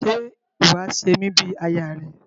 Ṣe iwọ a ṣe mi bí aya rẹ?